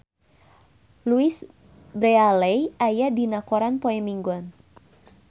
Louise Brealey aya dina koran poe Minggon